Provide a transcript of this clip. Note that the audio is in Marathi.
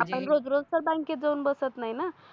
आपण रोज रोज त बॅंकेत जावून बसत नाही न.